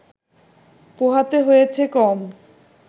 পোহাতে হয়েছে কম